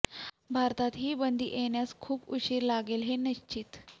भारतात ही बंदी येण्यास खूप उशीर लागेल हे निश्चित